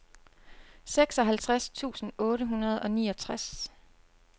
seksoghalvtreds tusind otte hundrede og niogtres